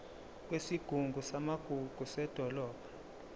kwesigungu samagugu sedolobha